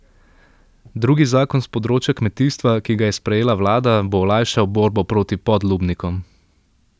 Drugi zakon s področja kmetijstva, ki ga je sprejela vlada, bo olajšal borbo proti podlubnikom.